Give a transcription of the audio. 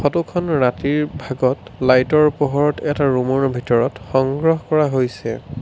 ফটোখন ৰাতিৰ ভাগত লাইটৰ পোহৰত সংগ্ৰহ কৰা হৈছে।